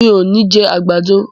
Mi ò ní jẹ àgbàdo.